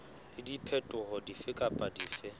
le diphetoho dife kapa dife